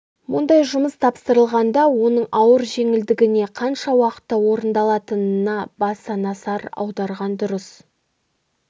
мұндай жұмыс тапсырылғанда оның ауыр-жеңілдігіне қанша уақытта орындалатынына баса назар аударған дұрыс